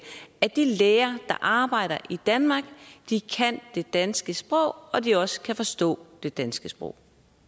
at de læger der arbejder i danmark kan det danske sprog og at de også kan forstå det danske sprog